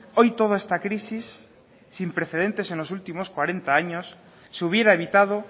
hoy toda esta crisis sin precedentes en los últimos cuarenta años se hubiera evitado